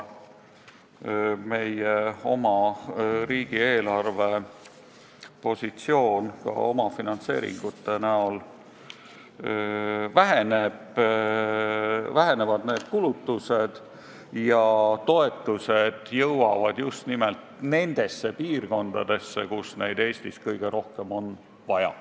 Meie riigi eelarvepositsioon tänu väiksematele omafinantseeringutele paraneb, vähenevad need kulutused ja toetused jõuavad just nimelt nendesse piirkondadesse, kus neid Eestis kõige rohkem on vaja.